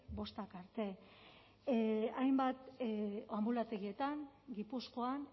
bostak arte hainbat anbulategietan gipuzkoan